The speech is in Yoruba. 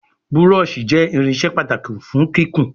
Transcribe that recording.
Búrọ́ọ̀ṣì jé irinṣẹ́ pàtàkì fún kíkún.